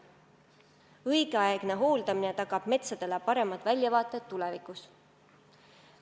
Õigeaegne hooldamine tagab metsadele paremad väljavaated tulevikus.